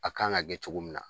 A kan ka kɛ cogo min na